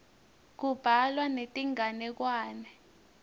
kubhalwa netinganekwane